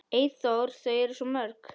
Eyþór: Þau eru svo mörg.